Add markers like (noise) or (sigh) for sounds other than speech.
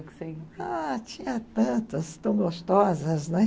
(unintelligible) Ah, tinha tantas, tão gostosas, né?